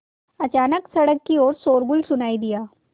अचानक सड़क की ओर शोरगुल सुनाई दिया